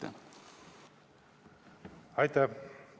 Aitäh!